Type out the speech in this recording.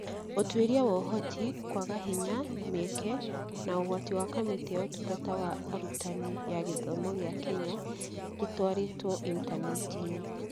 Ũtuĩria wa Ũhoti, kwaga hinya, mĩeke, na ũgwati ya Kamĩtĩ ya Ũtungata wa Arutani ya gĩthomo gĩa Kenya gĩtwarĩtwo intaneti-inĩ